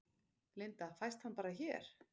Linda: Fæst hann bara hér?